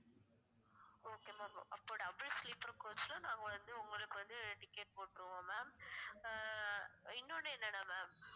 okay ma'am அப்ப double sleeper coach ல நாங்க வந்து உங்களுக்கு வந்து ticket போட்டுருவோம் ma'am அஹ் இன்னொன்னு என்னன்னா ma'am